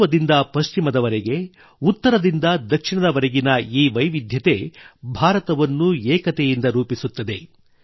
ಪೂರ್ವದಿಂದ ಪಶ್ಚಿಮದವರೆಗೆ ಉತ್ತರದಿಂದ ದಕ್ಷಿಣದವರೆಗಿನ ಈ ವೈವಿಧ್ಯ ಭಾರತವನ್ನು ಏಕತೆಯಿಂದ ರೂಪಿಸುತ್ತದೆ